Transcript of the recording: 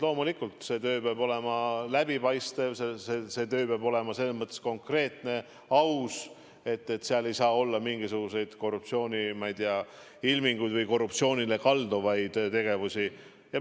Loomulikult, see töö peab olema läbipaistev ja see töö peab olema selles mõttes konkreetne, aus, et seal ei saa olla mingisuguseid korruptsiooniilminguid või korruptsioonile kalduvaid tegevusi.